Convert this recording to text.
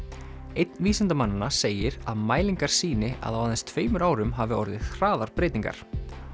einn vísindamannanna segir að mælingar sýni að á aðeins tveimur árum hafi orðið hraðar breytingar